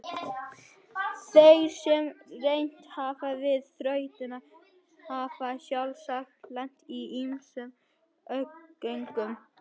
Þeir sem reynt hafa við þrautina hafa sjálfsagt lent í ýmsum ógöngum.